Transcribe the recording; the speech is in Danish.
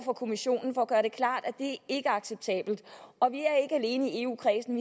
for kommissionen for at gøre det klart at det ikke er acceptabelt og vi er ikke alene i eu kredsen